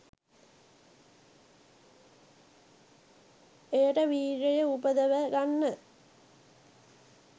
එයට වීර්යය උපදව ගන්න,